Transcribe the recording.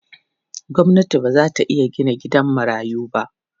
Gwamnati ba za ta iya gina gidan marayu ba.